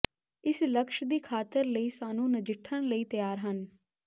ਇਸ ਲਕਸ਼ ਦੀ ਖਾਤਰ ਲਈ ਸਾਨੂੰ ਨਜਿੱਠਣ ਲਈ ਤਿਆਰ ਹਨ